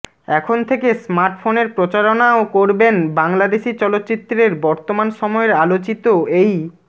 এখন থেকে স্মার্টফোনের প্রচারণাও করবেন বাংলাদেশি চলচ্চিত্রের বর্তমান সময়ের আলোচিত এই